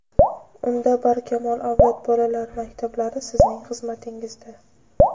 Unda "Barkamol avlod" bolalar maktablari sizning xizmatingizda!.